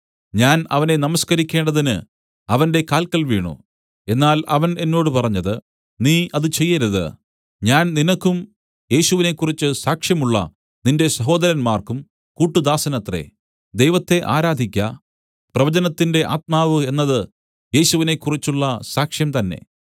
ഞാൻ അവനെ നമസ്കരിക്കേണ്ടതിന് അവന്റെ കാല്ക്കൽ വീണു എന്നാൽ അവൻ എന്നോട് പറഞ്ഞത് നീ അത് ചെയ്യരുത് ഞാൻ നിനക്കും യേശുവിനെകുറിച്ചു സാക്ഷ്യം ഉള്ള നിന്റെ സഹോദരന്മാർക്കും കൂട്ടുദാസനത്രേ ദൈവത്തെ ആരാധിക്ക പ്രവചനത്തിന്റെ ആത്മാവ് എന്നത് യേശുവിനെകുറിച്ചുള്ള സാക്ഷ്യം തന്നേ